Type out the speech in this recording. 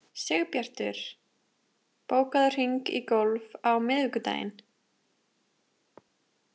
Sigbjartur, bókaðu hring í golf á miðvikudaginn.